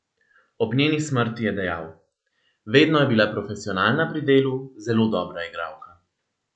Ob njeni smrti je dejal: ''Vedno je bila profesionalna pri delu, zelo dobra igralka.